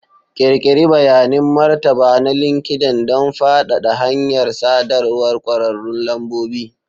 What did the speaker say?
Ƙirƙiri bayanin martaba na LinkedIn don faɗaɗa hanyar sadarwar ƙwararrun lambobi.